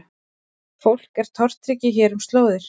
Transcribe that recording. Fólk er tortryggið hér um slóðir